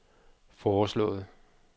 foreslået